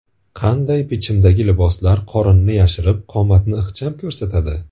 Qanday bichimdagi liboslar qorinni yashirib, qomatni ixcham ko‘rsatadi?.